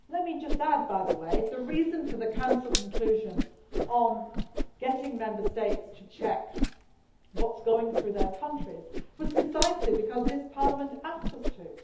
Let me just add, by the way, the reason for the Council conclusion on getting Member States to check what is going through their countries is precisely because this Parliament asked us to.